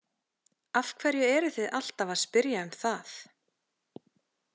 Af hverju eruð þið alltaf að spyrja um það?